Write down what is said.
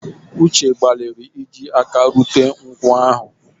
Uche gbalịrị iji aka rute nkwụ ahụ